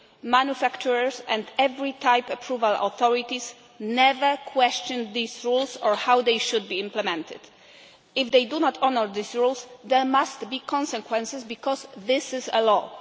Manufacturers, and every type approval authority, never questioned these rules or how they should be implemented. If they do not honour these rules, there must be consequences because this is a